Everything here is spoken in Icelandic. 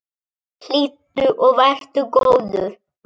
Hlýddu og vertu góður!